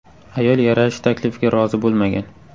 Ayol yarashish taklifiga rozi bo‘lmagan.